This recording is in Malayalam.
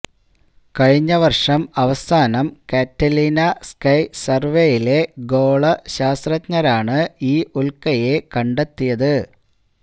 കഴിഞ്ഞ വർഷം അവസാനം കറ്റാലിന സ്കൈ സർവേയിലെ ഗോളശാസ്ത്രജ്ഞരാണ് ഈ ഉൽക്കയെ കണ്ടെത്തിയ്